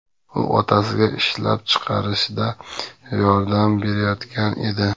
U otasiga ishlab chiqarishda yordam berayotgan edi.